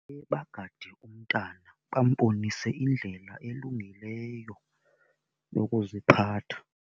Bagade umntana, bambonise indlela elungileyo yokuziphatha.